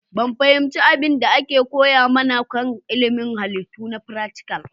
Ban fahimci abin da aka koya mana kan ilimin Halittu na fratical